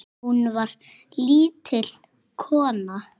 Hún var lítil kona.